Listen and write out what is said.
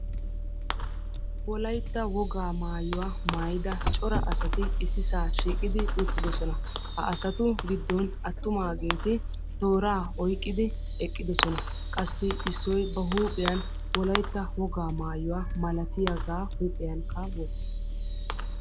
Wolaytta wogaa maayuwa maayida cora asati issisaa shiiqidi uttidosona. Ha asatu giddon attumaageeti tooraa oyqqidi eqqidosona. Qassi issoy ba huuphiyan wolaytta wogaa maayuwa malatiyagaa huuphiyankka wottiis.